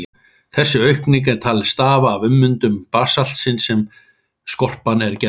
Þessi aukning er talin stafa af ummyndun basaltsins sem skorpan er gerð úr.